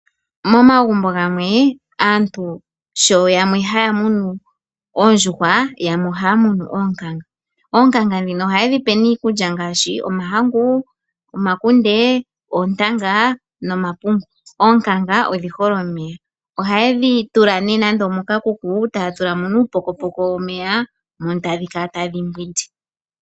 Momagumbo gamwe aantu yamwe ohaya munu oondjuhwa yamwe ohaya munu oonkanga. Oonkanga ohaye dhipe nee iikulya ngaashi omahangu, omakunde, oontanga nomapungu. Oonkanga odhi hole omeya. Ohayedhi tula moka kuku taya tula mo uupokopoko womeya mono tadhi kala tadhi nwine.